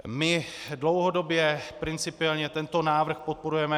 My dlouhodobě principiálně tento návrh podporujeme.